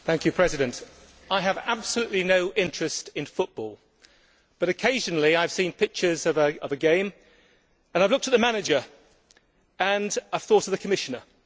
Mr President, I have absolutely no interest in football but occasionally I have seen pictures of a game, and I have looked at the manager and thought of the Commissioner.